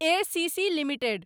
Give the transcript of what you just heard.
ACC limited